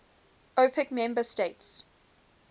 opec member states